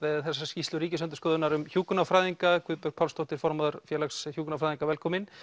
þessa skýrslu Ríkisendurskoðunar um hjúkrunarfræðinga Guðbjörg Pálsdóttir formaður Félags hjúkrunarfræðinga velkomin